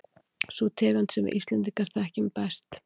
Sú tegund sem við Íslendingar þekkjum langbest.